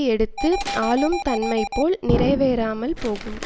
எடுத்தும் ஆளும் தன்மைபோல் நிறைவேறாமல் போகும்